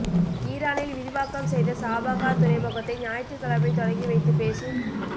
ஈரானில் விரிவாக்கம் செய்த சாபஹார் துறைமுகத்தை ஞாயிற்றுக்கிழமை தொடங்கி வைத்துப் பேசும்